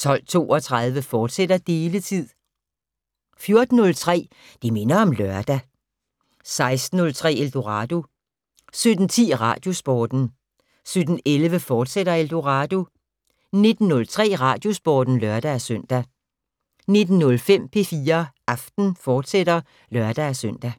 12:32: Deletid, fortsat 14:03: Det minder om lørdag 16:03: Eldorado 17:10: Radiosporten 17:11: Eldorado, fortsat 19:03: Radiosporten (lør-søn) 19:05: P4 Aften, fortsat (lør-søn)